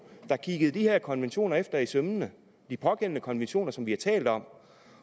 der kiggede disse konventioner efter i sømmene de pågældende konventioner som vi har talt om